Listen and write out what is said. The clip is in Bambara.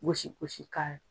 Gosigosi kan